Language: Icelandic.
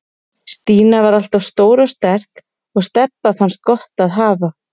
Stína var alltaf stór og sterk og Stebba fannst gott að hafa